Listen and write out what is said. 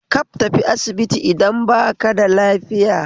Kaf tafi asibiti idan baka da lafiya